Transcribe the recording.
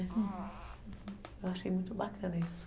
Eu achei muito bacana isso.